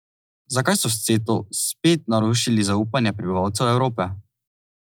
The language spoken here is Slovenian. Zakaj so s Ceto spet narušili zaupanje prebivalcev Evrope?